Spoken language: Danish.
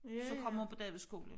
Så kom hun på Davidsskolen